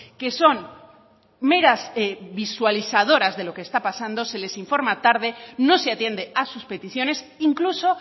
que son meras visualizadoras de lo que está pasando se les informa tarde no se atiende a sus peticiones incluso